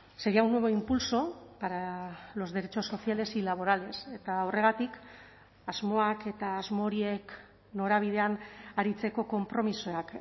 sería un nuevo impulso para los derechos sociales y laborales eta horregatik asmoak eta asmo horiek norabidean aritzeko konpromisoak